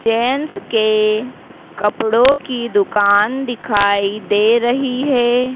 Gents के कपड़ों की दुकान दिखाई दे रही है।